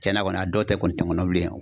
Cɛnna kɔni a dɔw tɛ kɔni tɛ n kɔnɔ bilen yan.